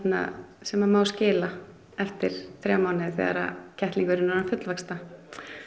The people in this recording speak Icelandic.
sem að má skila eftir þrjá mánuði þegar kettlingurinn er orðinn fullvaxta